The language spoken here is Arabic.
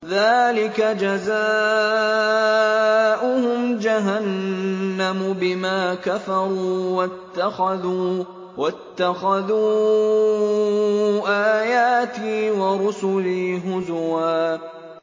ذَٰلِكَ جَزَاؤُهُمْ جَهَنَّمُ بِمَا كَفَرُوا وَاتَّخَذُوا آيَاتِي وَرُسُلِي هُزُوًا